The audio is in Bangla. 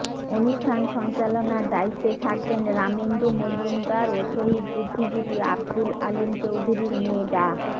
অনুষ্ঠান সঞ্চালনার দায়িত্বে থাকবেন রামেন্দু মজুমদার ও শহীদ বুদ্ধিজীবী আবদুল আলীম চৌধুরীর মেয়ে ডা